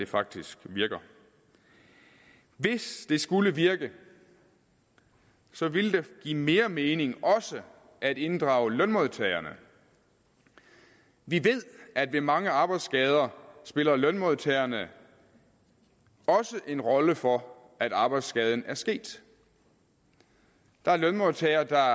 faktisk virker hvis det skulle virke ville det give mere mening også at inddrage lønmodtagerne vi ved at ved mange arbejdsskader spiller lønmodtagerne også en rolle for at arbejdsskaden er sket der er lønmodtagere der